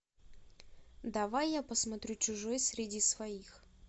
давай я посмотрю чужой среди своих